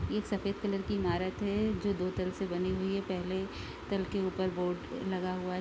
इ सफ़ेद कलर की इमारत है जो दो तरफ से बनी हुई है पहले तल के उपर बोर्ड लगा हुआ है।